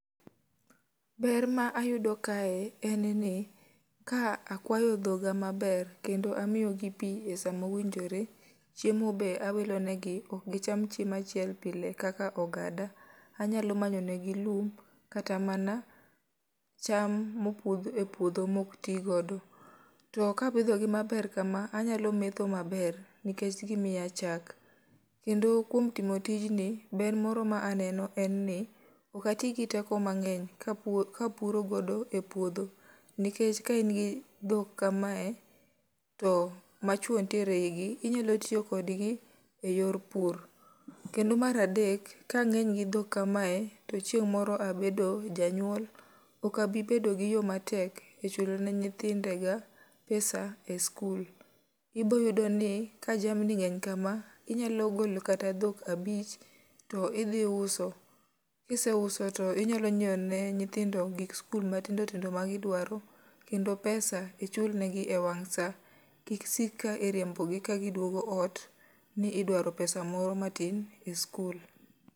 Ber ma ayudo kae en ni, ka akwayo dhoga maber, kendo amiyo gi pi e sama owinjore, chiem be awilonegi. Ok gicham chiemo chiel pile kaka ogada. Anyalo manyo negi lum, kata mana cham mopudh e puodho ma ok ti godo. To ka apidhogi maber kama anyalo metho maber nikech gimiya chak. Kendo kuom timo tijni ber moro ma aneno en ni ok ati gi teko mangény, ka ka puro godo e puodho. Nikech ka in gi dhok kamae, to ma chwo nitiere e i gi, to inyalo tiyo kodgi e yor pur. Kendo mar adek, ka angény gi dhok kamae, to chieng' mor abedo janyuol, ok abi bedo gi yo matek e chulo ne nyithindega, pesa e sikul. Iboyudo ni, ka jamni ngény kama, inyalo golo kata dhok abich, to idhi uso. Kiseuso to inyalo nyiewo ne nyithindo gik sikul matindo tindo ma gidwaro, kendo pesa ichulnegi e wang' sa. Kik sik ka iriembogi ka giduogo ot ni idwaro pesa moro matin e sikul.